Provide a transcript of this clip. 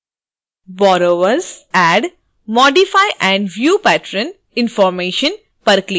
borrowers add modify and view patron information पर भी click करें